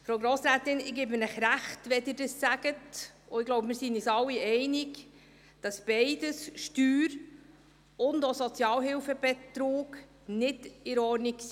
Frau Grossrätin, ich gebe Ihnen Recht, wenn Sie das sagen, und ich denke, wir sind uns alle einig, dass sowohl der Steuer- als auch der Sozialhilfebetrug nicht in Ordnung ist.